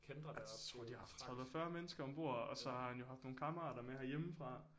Tror de har haft 30 40 mennesker ombord og så har han jo haft nogle kammerater med herhjemmefra